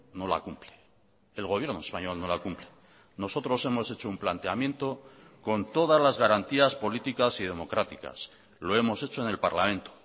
no la cumple el gobierno español no la cumple nosotros hemos hecho un planteamiento con todas las garantías políticas y democráticas lo hemos hecho en el parlamento